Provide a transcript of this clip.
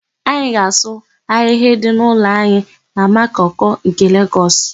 Anyị ga-asụ ahịhịa dị n'ụlọ anyị na Makoko nke Legọs.